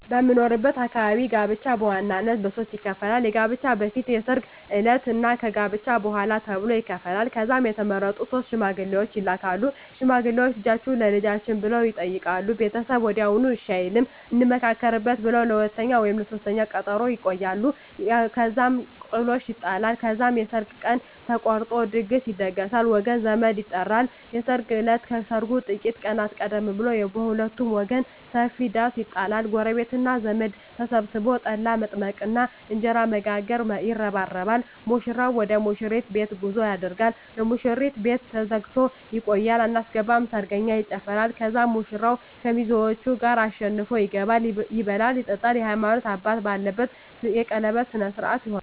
በምኖርበት አካባቢ ጋብቻ በዋናነት በሦስት ይከፈላል። ከጋብቻ በፊት፣ የሰርግ ዕለት እና ከጋብቻ በኋላ ተብሎ ይከፈላል። ከዛም የተመረጡ ሶስት ሽማግሌዎች ይላካሉ። ሽማግሌዎቹ "ልጃችሁን ለልጃችን" ብለው ይጠይቃሉ። ቤተሰብ ወዲያውኑ እሺ አይልም፤ "እንመካከርበት" ብለው ለሁለተኛ ወይም ለሦስተኛ ቀጠሮ ያቆያሉ። እዛም ጥሎሽ ይጣላል። ከዛም የሰርግ ቀን ተቆርጦ ድግስ ይደገሳል፣ ወገን ዘመድ ይጠራል። የሰርግ እለት ከሰርጉ ጥቂት ቀናት ቀደም ብሎ በሁለቱም ወገን ሰፊ ዳስ ይጣላል። ጎረቤትና ዘመድ ተሰብስቦ ጠላ በመጥመቅና እንጀራ በመጋገር ይረባረባል። ሙሽራው ወደ ሙሽሪት ቤት ጉዞ ያደርጋል። የሙሽሪት ቤት ተዘግቶ ይቆያል። አናስገባም ሰርገኛ ይጨፋራል። ከዛም ሙሽራው ከሚዜዎቹ ጋር አሸንፎ ይገባል። ይበላል ይጠጣል፣ የሀይማኖት አባት ባለበት የቀለበት ስነ ስሮአት ይሆናል